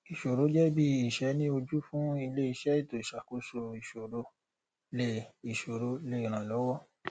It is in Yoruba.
ìṣòro jẹ bí ìṣẹ ni ojú fún ilé iṣẹ ètò ìṣàkóso ìṣòro lè ìṣòro lè ràn lọwọ